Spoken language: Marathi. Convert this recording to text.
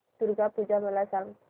दुर्गा पूजा मला सांग